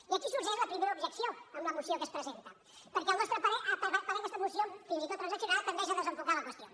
i aquí sorgeix la primera objecció en la moció que es presenta perquè al nostre parer aquesta moció fins i tot transaccionada tendeix a desenfocar la qüestió